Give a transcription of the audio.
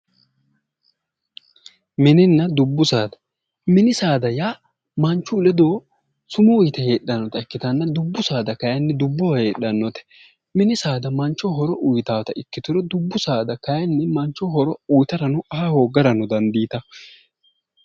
Mininna dubbu saada mini saada yaa Manchu ledo sumuu yite heedhannota ikkitanna dubbu saada kayinni dubbo heedhannota mini saada manchoho horo uuyitannota ikkituro dubbu saada kayinni mancho horo uyitarano aa hooggarano dandiitawo